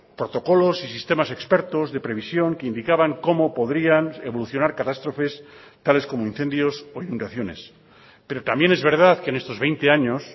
protocolos y sistemas expertos de previsión que indicaban cómo podrían evolucionar catástrofes tales como incendios o inundaciones pero también es verdad que en estos veinte años